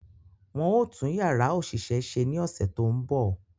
Wọ́n ó tún Yàrá òṣìṣẹ́ ṣe ní ọ̀sẹ̀ tó ń bọ̀